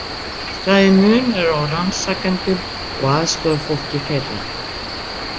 Það er munur á rannsakendum og aðstoðarfólki þeirra.